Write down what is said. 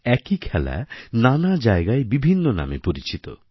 একই খেলা নানা জায়গায় বিভিন্ন নামে পরিচিত